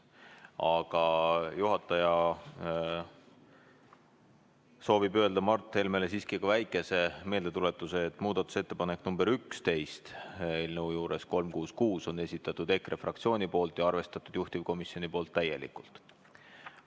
Aga juhataja soovib öelda Mart Helmele siiski ka väikese meeldetuletuse: muudatusettepaneku nr 11 eelnõu 366 juures on esitanud EKRE fraktsioon ja juhtivkomisjon on seda arvestanud täielikult.